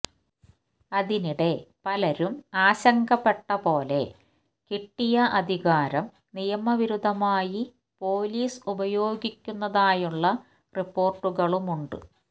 അതിനിടെ പലരും ആശങ്കപ്പെട്ടപോലെ കിട്ടിയ അധികാരം നിയമവിരുദ്ധമായി പോലീസ് ഉപയോഗിക്കുന്നതായുള്ള റിപ്പോാർട്ടുകളുമുണ്ട്